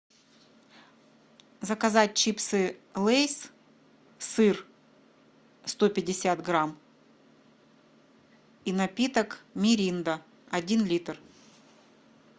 заказать чипсы лейс сыр сто пятьдесят грамм и напиток миринда один литр